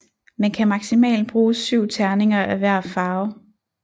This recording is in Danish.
Man kan maksimalt bruge syv terninger af hver farve